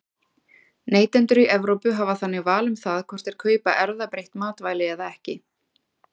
Neytendur í Evrópu hafa þannig val um það hvort þeir kaupa erfðabreytt matvæli eða ekki.